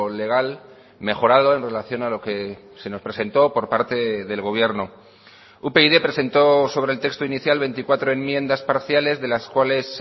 legal mejorado en relación a lo que se nos presentó por parte del gobierno upyd presentó sobre el texto inicial veinticuatro enmiendas parciales de las cuales